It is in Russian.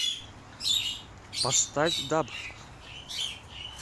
поставь даб